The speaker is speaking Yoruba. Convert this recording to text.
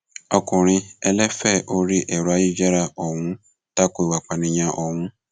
ọkùnrin ẹlẹfẹ orí ẹrọ ayélujára ọhún ta ko ìwà ìpànìyàn ọhún